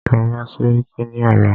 Lọ bá sẹ́ríkí ní ọ̀la!